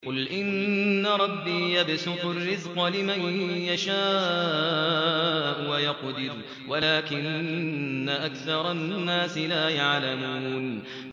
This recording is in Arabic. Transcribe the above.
قُلْ إِنَّ رَبِّي يَبْسُطُ الرِّزْقَ لِمَن يَشَاءُ وَيَقْدِرُ وَلَٰكِنَّ أَكْثَرَ النَّاسِ لَا يَعْلَمُونَ